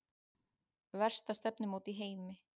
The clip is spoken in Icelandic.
Versta stefnumót í heimi